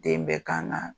Den bɛ kan na